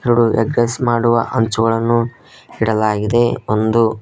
ಇದು egg rice ಮಾಡುವ ಅಂಚುಗಳನ್ನು ಇಡಲಾಗಿದೆ ಒಂದು--